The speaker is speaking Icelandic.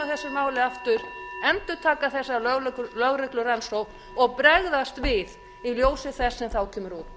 þessu máli aftur endurtaka þessa lögreglurannsókn og bregðast við í ljósi þess sem þá kemur út